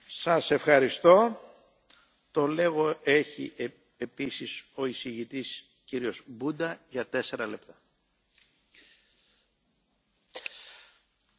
Domnule președinte, doamna comisar, doamnelor și domnilor colegi, în primul rând doresc să mulțumesc tuturor celor care au contribuit la realizarea acestui proiect de inițiativă,